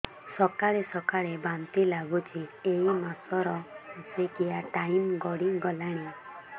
ସକାଳେ ସକାଳେ ବାନ୍ତି ଲାଗୁଚି ଏଇ ମାସ ର ମାସିକିଆ ଟାଇମ ଗଡ଼ି ଗଲାଣି